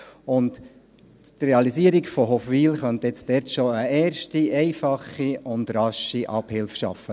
Die Realisierung von Hofwil könnte dort schon eine erste, einfache und rasche Abhilfe schaffen.